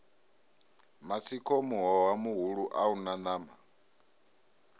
matsiko muhoha muhulua una nama